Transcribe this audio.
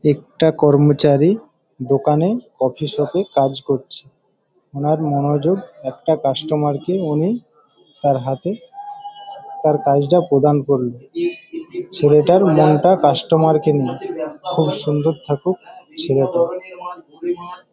একটা কর্মচারী দোকানে কফি শপে এ কাজ করছে উনার মনোযোগ একটা কাস্টমার কে উনি তার হাতে তার কাজটা প্রদান করলেন। ছেলেটার মনটা কাস্টমার কে নিয়ে। থাকুক খুব সুন্দর থাকুক ছেলেটা।